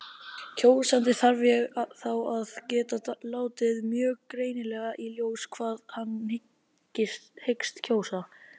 Kjósandi þarf þá að geta látið mjög greinilega í ljós hvað hann hyggst kjósa.